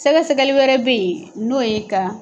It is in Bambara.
Sɛgɛsɛgɛli wɛrɛ bɛ yen n'o ye ka